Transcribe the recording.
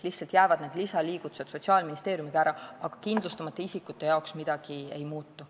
Lisaliigutused jäävad Sotsiaalministeeriumis lihtsalt ära, aga kindlustamata isikute jaoks midagi ei muutu.